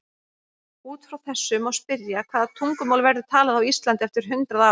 Út frá þessu má spyrja: Hvaða tungumál verður talað á Íslandi eftir hundrað ár?